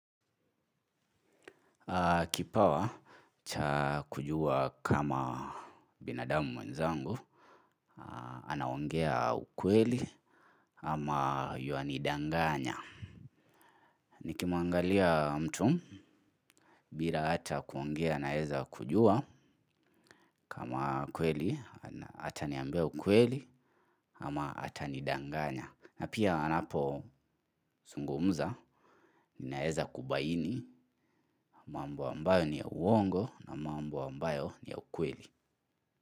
Kipawa, cha kujua kama binadamu mwenzangu, anaongea ukweli ama ywanidanganya. Nikimwangalia mtu, bila hata kuongea nawezakujua kama ukweli, ataniambia ukweli ama atanidanganya. Na pia anapozungumza, ninaweza kubaini, mambo ambayo ni ya uongo na mambo ambayo ni ya ukweli.